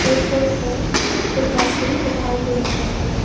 एटफोन पे एक डसबिन दिखाई दे रहे हैं।